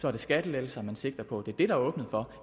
er det skattelettelser man sigter på det er det der er åbnet for